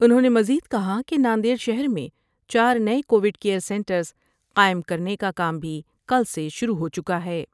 انہوں نے مزید کہا کہ ناندیڑ شہر میں چار نئے کوڈ کیئر سینٹرس قائم کرنے کا کام بھی کل سے شروع ہو چکا ہے ۔